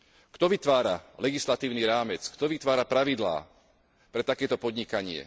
Kto vytvára legislatívny rámec, kto vytvára pravidlá pre takéto podnikanie?